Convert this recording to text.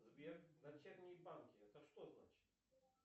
сбер дочерние банки это что значит